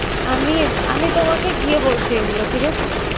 আমি আমি তোমাকে গিয়ে বলছি এগুলো। ঠিক আছে?